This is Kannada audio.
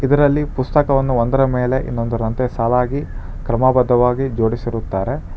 ಇದರಲ್ಲಿ ಪುಸ್ತಕವನ್ನು ಒಂದರ ಮೇಲೆ ಇನ್ನೊಂದರಂತೆ ಸಾಲಾಗಿ ಕ್ರಮಭದ್ದವಾಗಿ ಜೋಡಿಸಿರುತ್ತಾರೆ.